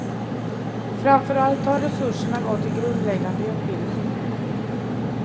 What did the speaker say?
Framför allt har resurserna gått till grundläggande utbildning.